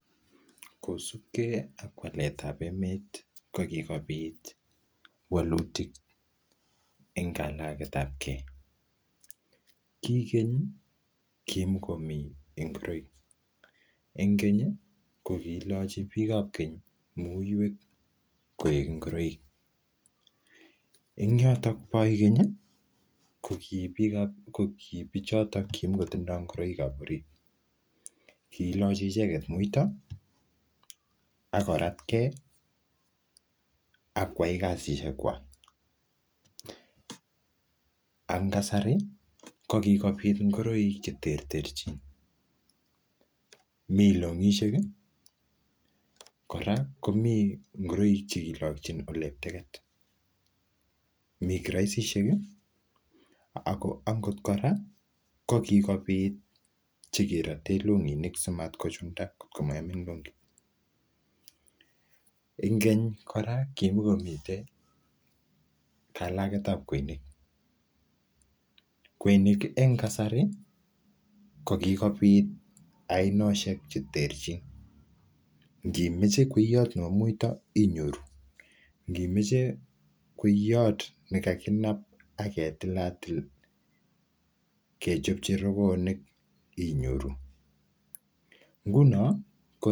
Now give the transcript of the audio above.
kosuup kee ak waleet ab emet kogikobiit waluutik en kalageet ab kee, kii keny kimogomii ingoroik, en keny kogilochi biik ab keny muyweek koek ngoroiik, en yoton booy keny iih ko kii bichoton kimogotindoo ngoroik ab oriit killochi icheget muuito agoratgee abakwaai kasisyeek kwaak, ak ngasari ko kigobiit ngoroik chetrterchiin mii longisyeek iih koraa komii ngoroik chekilokyiin eletegeet, mii kiroisisheek iih angoot koraa ko kigobiit chegeroteen longiniik simat kochunda kotkomaibuut longiit, en keny koraa kimagomiteen kalageet ab kweinik, kweinik en kasarii ko gigobiit ainosheek cheterchin ngimoche kweyoot nebo muiito inyoruu, ngiimoche kweyoot negaginaab ak ketilatil kechobchi rogoonik inyoruu, ngunoo ko,,